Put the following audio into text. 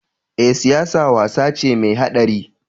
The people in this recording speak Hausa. Eh, siyasa wasa ce mai haɗari?